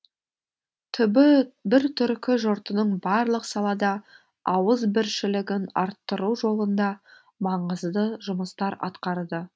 түбі бір түркі жұртының барлық салада ауызбіршілігін арттыру жолында маңызды жұмыстар атқарды